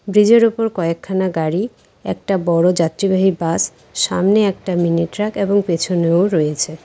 ব্রীজের উপর কয়েকখানা গাড়ি একটা বড়ো যাত্রীবাহী বাস সামনে একটা মিনি ট্রাক এবং পেছনেও রয়েছে।